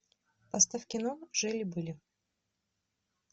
поставь кино жили были